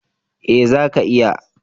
Eh, zaka iya.